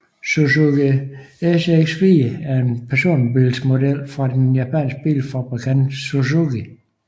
Suzuki SX4 er en personbilsmodel fra den japanske bilfabrikant Suzuki